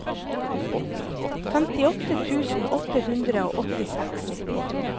femtiåtte tusen åtte hundre og åttiseks